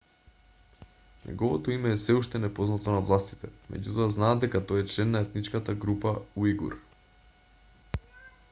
неговото име е сѐ уште непознато на властите меѓутоа знаат дека тој е член на етничката група уигур